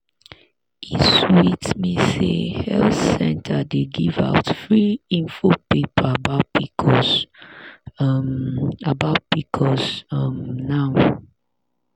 e sweet me say health center dey give out free info paper about pcos um about pcos um now.